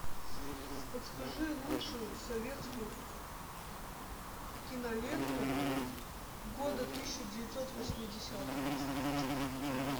подскажи лучшую советскую киноленту года тысяча девятьсот восьмидесятого